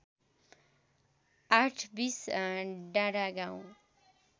आठबीस डाँडागाउँ